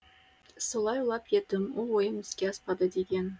солай ойлап едім ол ойым іске аспады деген